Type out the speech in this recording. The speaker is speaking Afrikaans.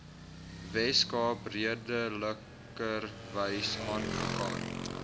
weskaap redelikerwys aangegaan